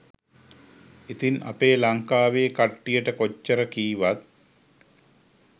ඉතින් අපේ ලංකාවේ කට්ටියට කොච්චර කීවත්